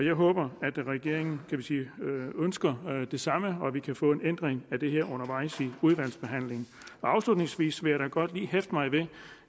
jeg håber at regeringen ønsker det samme og at vi kan få en ændring af det her undervejs i udvalgsbehandlingen afslutningsvis vil jeg da godt lige hæfte mig